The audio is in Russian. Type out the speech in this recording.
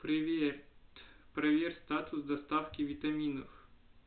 привет проверь статус доставки витаминов